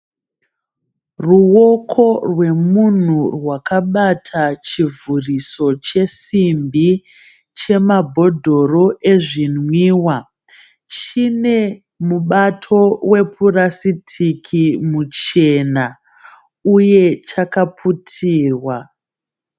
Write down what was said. Ruwoko rwemunhu rwakabata chivhuriso chesimbi chemabhodhoro ezvinwiwa chinemubato wepurasitiki muchena uye chakaputirwa.